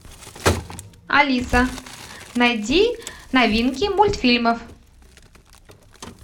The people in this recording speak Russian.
алиса найди новинки мультфильмов